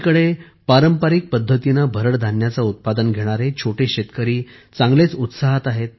एकीकडे पारंपारिक पद्धतीने भरड धान्याचे उत्पादन घेणारे छोटे शेतकरी चांगलेच उत्साहात आहेत